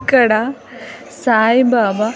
ఇక్కడ సాయి బాబా.